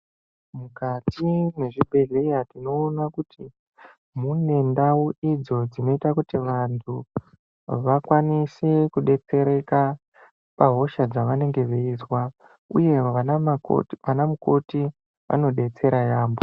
Mukati mwezvibhedhleya tinoona kuti munendau idzo dzinoita kuti vantu vakwanise kudetsereka pahosha dzavanenge veizwa uye vanamukoti vanodetsera yaamho.